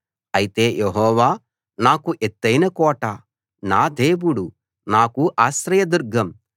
అయితే యెహోవా నాకు ఎత్తయిన కోట నా దేవుడు నాకు ఆశ్రయదుర్గం